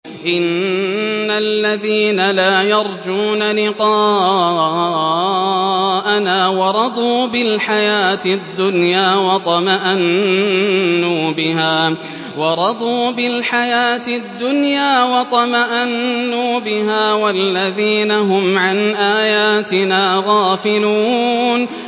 إِنَّ الَّذِينَ لَا يَرْجُونَ لِقَاءَنَا وَرَضُوا بِالْحَيَاةِ الدُّنْيَا وَاطْمَأَنُّوا بِهَا وَالَّذِينَ هُمْ عَنْ آيَاتِنَا غَافِلُونَ